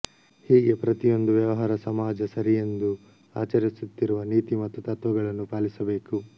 ಹೀಗೆ ಪ್ರತಿಯೊಂದು ವ್ಯವಹಾರ ಸಮಾಜ ಸರಿಯೆಂದು ಆಚರಿಸುತ್ತಿರುವ ನೀತಿ ಮತ್ತು ತತ್ವಗಳನ್ನು ಪಾಲಿಸಬೇಕು